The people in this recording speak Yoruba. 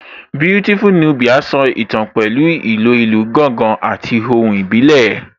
Beautiful Nubia so ìtàn pẹ̀lú ìlò ìlù gángan àti ohùn ìbílẹ̀